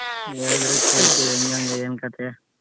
ಹೇಳ್ದ್ರೆ ಕೇಳ್ತಿನಿ ಹೆಂಗೆಂಗೆ ಏನ್ ಕಥೆ.